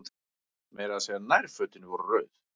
Meira að segja nærfötin voru rauð.